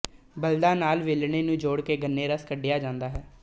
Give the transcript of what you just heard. ਬਲਦਾਂ ਨਾਲ ਵੇੇੇਲਣੇੇ ਨੂੰ ਜੋੜ ਕੇ ਗੰਨੇਰਸ ਕੱੱਢਿਆਂ ਜਾਂਦਾ ਹੈ